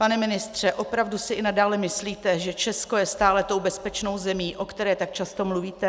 Pane ministře, opravdu si i nadále myslíte, že Česko je stále tou bezpečnou zemí, o které tak často mluvíte?